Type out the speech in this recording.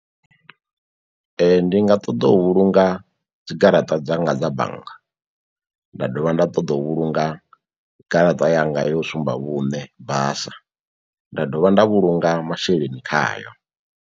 Ndi nga ṱoḓa u vhulunga dzigaraṱa dzanga dza bannga nda dovha nda ṱoḓa u vhulunga garaṱa yanga yo sumba vhune basa nda dovha nda vhulunga masheleni khayo.